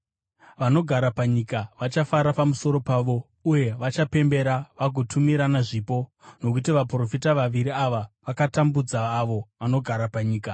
Vanogara panyika vachafara pamusoro pavo uye vachapembera vagotumirana zvipo, nokuti vaprofita vaviri ava vakatambudza avo vanogara panyika.